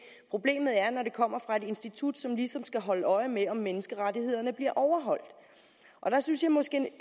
problemet er når det kommer fra et institut som ligesom skal holde øje med om menneskerettighederne bliver overholdt og der synes jeg måske